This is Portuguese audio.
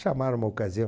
Chamaram uma ocasião.